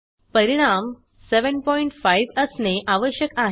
परिणाम 75 असणे आवश्यक आहे